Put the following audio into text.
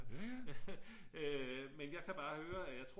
men jeg kan bare høre at jeg tror